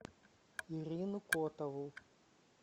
ирину котову